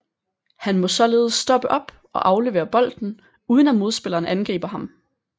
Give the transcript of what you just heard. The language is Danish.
Han må således stoppe op og aflevere bolden uden at modspilleren angriber ham